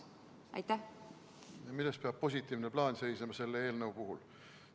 Milles peab seisnema positiivne plaan selle eelnõu puhul?